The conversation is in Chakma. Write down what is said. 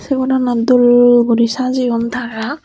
say goranot dol gori sajeyon tara.